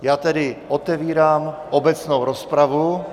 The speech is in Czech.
Já tedy otevírám obecnou rozpravu.